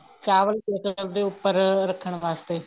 ਤੇ ਚਾਵਲ ਉੱਪਰ ਰੱਖਣ ਵਾਸਤੇ